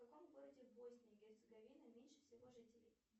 в каком городе боснии и герцеговины меньше всего жителей